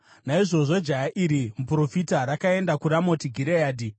Naizvozvo jaya iri, muprofita, rakaenda kuRamoti Gireadhi.